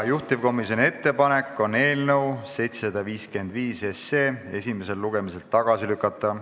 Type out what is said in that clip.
Juhtivkomisjoni ettepanek on eelnõu 755 esimesel lugemisel tagasi lükata.